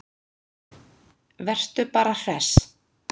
Vertu bara hress!